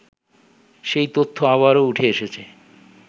সেই তথ্য আবারও উঠে এসেছে